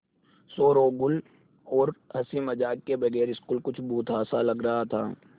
शोरोगुल और हँसी मज़ाक के बगैर स्कूल कुछ भुतहा सा लग रहा था